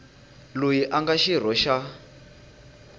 loyi a nga xirho xa